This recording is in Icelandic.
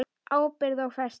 Ábyrgð og festa